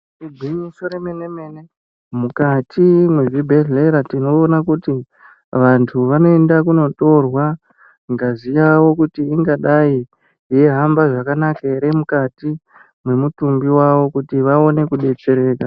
Igwinyiso remenemene mukati mwezvibhedhlera tinoona kuti vanthu vanoende kunotorwa ngazi yavo kuti ingadai yeihamba zvakanaka ere mukati mwemitumbi yawo kuti vaone kudetsereka.